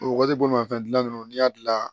O waati bolimafɛn gilan ninnu n'i y'a dilan